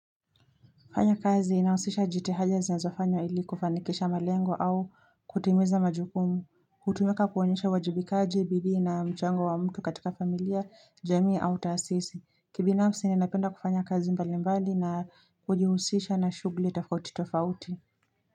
Fanya kazi inahusisha jitihada zinazofanyo ili kufanikisha malengo au kutimiza majukumu, hutumika kuonyesha uwajibikaji bidii na mchango wa mtu katika familia, jamii au taasisi. Kibinafsi ninapenda kufanya kazi mbali mbali na kujihusisha na shugli tofauti tofauti.